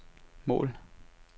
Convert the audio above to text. mål